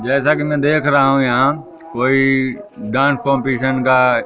जैसा कि मैं देख रहा हूं यहां कोई डांस कॉम्पिशन का--